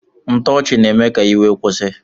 Ntoochi na eme ka iwe kwusi.